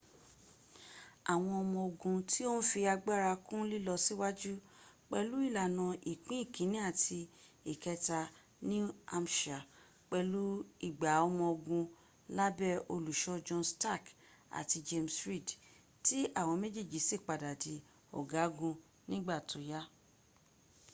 àwọn ọmọ ogun tí o ń fi agbára kún lílọ síwájú pẹ̀lú ìlànà ìpín ìkíní àti ìkẹta new hampshirs pẹ̀lú igba ọmọ ogun lábé olùsọ john stark àti james reed tí àwọn méjèèjì sì padà di ọgagun nígbà tó yá